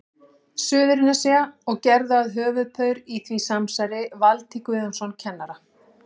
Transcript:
Suðurnesja, og gerðu að höfuðpaur í því samsæri Valtý Guðjónsson kennara.